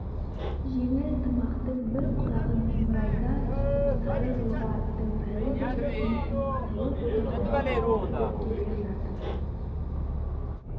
жеңіл тымақтың бір құлағын жымырайта киіп сары жорға аттың жайлы бір жүрісіне салып ботақанға қарай беттеп келе жатып